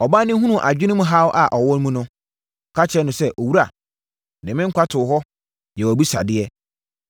Ɔbaa no hunuu adwenem haw a ɔwɔ mu no, ɔka kyerɛɛ no sɛ, “Owura, mede me nkwa too hɔ, yɛɛ wʼabisadeɛ.